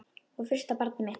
Og fyrsta barnið mitt.